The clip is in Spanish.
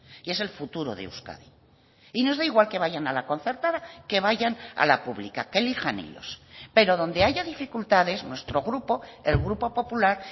y es el futuro de euskadi y nos da igual que vayan a la concertada que vayan a la pública que elijan ellos pero donde haya dificultades nuestro grupo el grupo popular